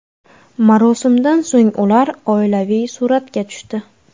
Marosimdan so‘ng ular oilaviy suratga tushdi.